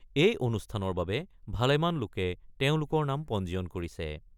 এই অনুষ্ঠানৰ বাবে ভালেমান লোকে তেওঁলোকৰ নাম পঞ্জীয়ন কৰিছে।